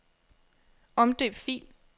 Omdøb fil.